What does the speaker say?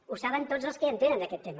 ho saben tots els que hi entenen en aquest tema